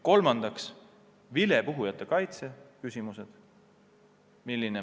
Kolmandaks, vilepuhujate kaitse.